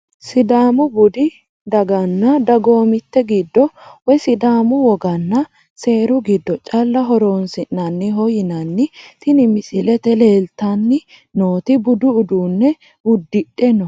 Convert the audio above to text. Sidaamu budi daganna dagoomitete giddo woyi sidaamu woggana seeru giddo calla horonsinaniho yinani tini misilete leelitani nooti budu uduune udidhe no.